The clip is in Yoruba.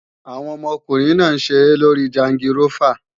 Àwọn ọmọkùnrin náà ń ṣeré lórí jangirófà